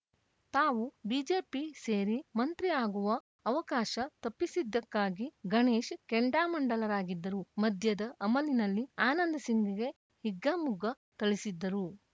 ತಾವು ಬಿಜೆಪಿ ಸೇರಿ ಮಂತ್ರಿ ಆಗುವ ಅವಕಾಶ ತಪ್ಪಿಸಿದ್ದಕ್ಕಾಗಿ ಗಣೇಶ್‌ ಕೆಂಡಾಮಂಡಲರಾಗಿದ್ದರು ಮದ್ಯದ ಅಮಲಿನಲ್ಲಿ ಆನಂದ್‌ ಸಿಂಗ್‌ಗೆ ಹಿಗ್ಗಾಮುಗ್ಗ ಥಳಿಸಿದ್ದರು